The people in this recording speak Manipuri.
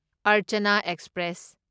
ꯑꯔꯆꯥꯅꯥ ꯑꯦꯛꯁꯄ꯭ꯔꯦꯁ